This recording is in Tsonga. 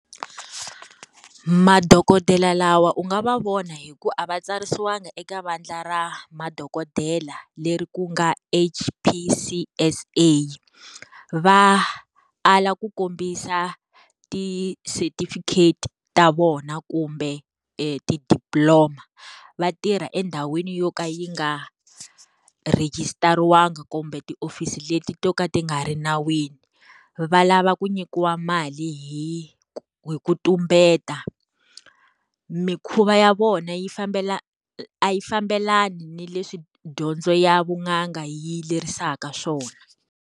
Madokodela lawa u nga va vona hi ku a va tsarisiwangi eka vandla ra madokodela, leri ku nga HPCSA. Va ala ku kombisa ti setifikheti ta vona kumbe ti-diploma. Va tirha endhawini yo ka yi nga rejistariwanga kumbe ti hofisi leti to ka ti nga ri nawini. Va lava ku nyikiwa mali hi hi ku tumbeta. Mikhuva ya vona yi a yi fambelani ni leswi dyondzo ya vun'anga yi lerisaka swona.